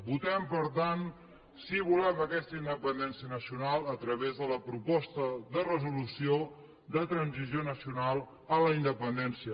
votem per tant si volem aquesta independència nacio nal a través de la proposta de resolució de transició nacional a la independència